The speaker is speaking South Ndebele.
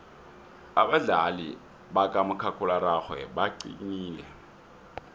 abadlali bakamakhakhulararhwe baqinile